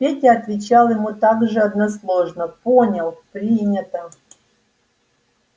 петя отвечал ему так же односложно понял принято